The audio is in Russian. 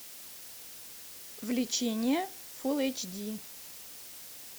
влечение фул эйч ди